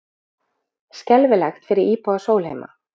Skelfilegt fyrir íbúa Sólheima